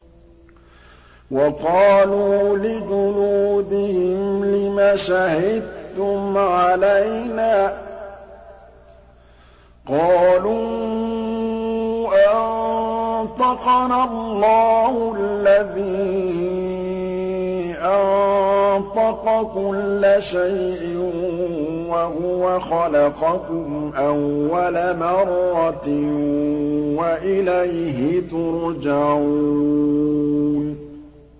وَقَالُوا لِجُلُودِهِمْ لِمَ شَهِدتُّمْ عَلَيْنَا ۖ قَالُوا أَنطَقَنَا اللَّهُ الَّذِي أَنطَقَ كُلَّ شَيْءٍ وَهُوَ خَلَقَكُمْ أَوَّلَ مَرَّةٍ وَإِلَيْهِ تُرْجَعُونَ